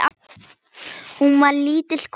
Hún var lítil kona.